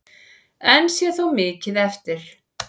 Enn sé þó mikið eftir.